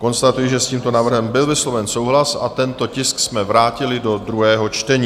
Konstatuji, že s tímto návrhem byl vysloven souhlas, a tento tisk jsme vrátili do druhého čtení.